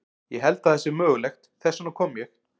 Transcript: Ég held að það sé mögulegt, þess vegna kom ég.